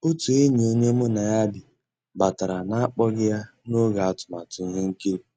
Ótú ényí ónyé mu ná yá bì batàrà n'àkpọ́ghị́ yá n'ògé àtụ̀màtụ́ íhé nkírí.